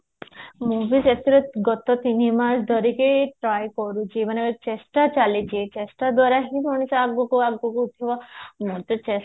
ମୁଁ ବି ସେଥିରେ ଗତ ତିନିମାସ ଧରିକି try କରୁଛି ମାନେ ଚେଷ୍ଟା ଚାଲିଛି ଚେଷ୍ଟା ଦ୍ଵାରା ହିଁ ବହୁତ ଆଗକୁ ଆଗକୁ ଉଠିବ ମୁଁ ତ ଚେଷ୍ଟା